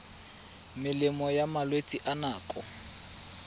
melemo ya malwetse a nako